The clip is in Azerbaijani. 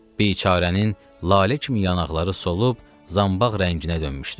Biçarənin lalə kimi yanaqları solub zambaq rənginə dönmüşdü.